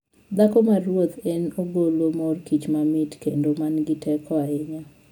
Dhako maruoth en ogolo mor kich mamit kendo ma nigi teko ahinya.